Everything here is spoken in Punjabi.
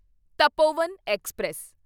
ਤਪੋਵਨ ਐਕਸਪ੍ਰੈਸ